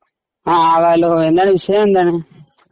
ങാ. ഹലോ എന്താണ് വിഷയമെന്താണ്?